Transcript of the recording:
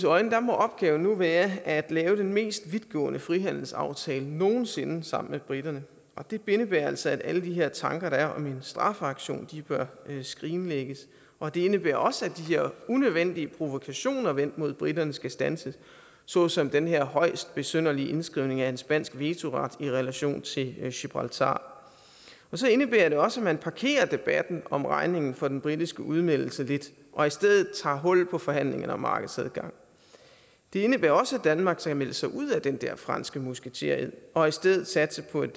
øjne må opgaven nu være at lave den mest vidtgående frihandelsaftale nogen sinde sammen med briterne og det indebærer altså at alle de her tanker der er om en straffeaktion bør skrinlægges og det indebærer også at de her unødvendige provokationer vendt mod briterne skal standses såsom den her højst besynderlige indskrivning af en spansk vetoret i relation til gibraltar så indebærer det også at man parkerer debatten om regningen for den britiske udmeldelse lidt og i stedet tager hul på forhandlingerne om markedsadgang det indebærer også at danmark skal melde sig ud af den der franske musketered og i stedet satse på et